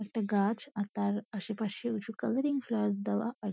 একটা গাছ আর তার আশেপাশে উঁচু কালারিং ফ্লাওয়ার্স দেওয়া আর--